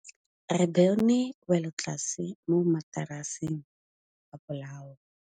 Re bone wêlôtlasê mo mataraseng a bolaô.